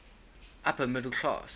upper middle class